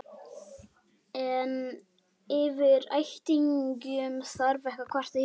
En yfir ættingjum þarf ekki að kvarta hér.